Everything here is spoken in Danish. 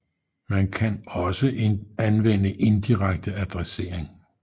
Man kan også anvende indirekte adressering